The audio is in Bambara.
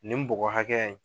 Nin bɔgɔ hakɛya in.